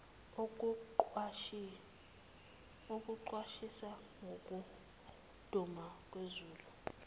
okuqwashisa ngokuduma kwezulu